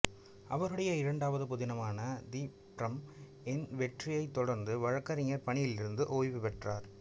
அவருடைய இரண்டாவது புதினமான தி ஃபிர்ம் இன் வெற்றியைத் தொடர்ந்து வழக்கறிஞர் பணியிலிருந்து ஓய்வு பெற்றார்